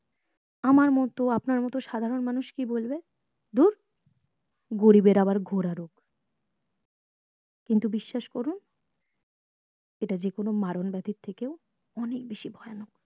আমার মতো আপনার মতো সাধারণ মানুষ কি বলবে ধুর গরীবের ঘোরা রোগ কিন্তু বিশ্বাস করুন এটা যেকোনো মারণ ব্যাথির থেকে ও অনেক বেশি ভয়ানক